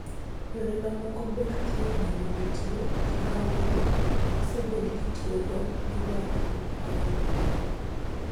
Yore mamoko mag thieth bende nitie; kata kamano, osebed kitiyogo gi nyak mopogore opogore.